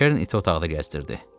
Kern iti otaqda gəzdirdi.